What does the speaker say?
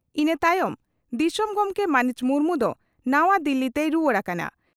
ᱤᱱᱟᱹ ᱛᱟᱭᱚᱢ ᱫᱤᱥᱚᱢ ᱜᱚᱢᱠᱮ ᱢᱟᱹᱱᱤᱡ ᱢᱩᱨᱢᱩ ᱫᱚ ᱱᱟᱣᱟ ᱫᱤᱞᱤ ᱛᱮᱭ ᱨᱩᱣᱟᱹᱲ ᱟᱠᱟᱱᱟ ᱾